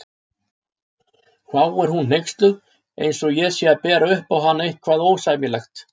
hváir hún hneyksluð eins og ég sé að bera upp á hana eitthvað ósæmilegt.